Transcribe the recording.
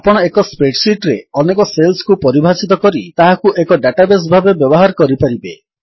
ଆପଣ ଏକ spreadsheet ରେ ଅନେକ ସେଲ୍ସକୁ ପରିଭାଷିତ କରି ତାହାକୁ ଏକ ଡାଟାବେସ୍ ଭାବେ ବ୍ୟବହାର କରିପାରିବେ